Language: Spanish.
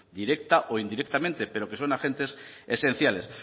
directa o indirectamente pero que son agentes esenciales